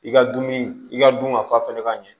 I ka dumuni i ka dun ka fa fɛnɛ ka ɲɛ